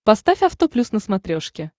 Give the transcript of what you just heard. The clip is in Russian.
поставь авто плюс на смотрешке